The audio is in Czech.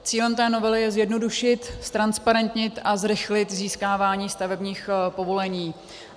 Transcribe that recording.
Cílem té novely je zjednodušit, ztransparentnit a zrychlit získávání stavebních povolení.